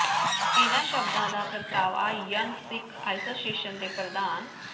ਇੰਨ੍ਹਾਂ ਸ਼ਬਦਾਂ ਦਾ ਪ੍ਰਗਟਾਵਾ ਯੰਗ ਸਿੱਖ ਐਸੋਸਿਏਸ਼ਨ ਦੇ ਪ੍ਰਧਾਨ ਸ